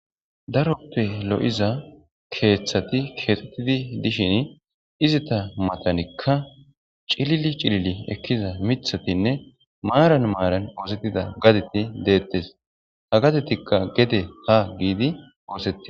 Daroppe lo'iza keeththati keexxettidi dishin izita matanikka cilili cilili ekkiza mithatinne maaran maaran oosettida gadeti deettes ha gadetikka gede ha giidi oosetti.